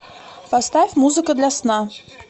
поставь музыка для сна